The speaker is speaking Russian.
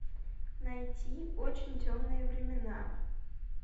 найти очень темные времена